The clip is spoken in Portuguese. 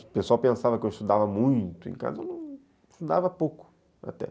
O pessoal pensava que eu estudava muito, em casa eu estudava pouco até.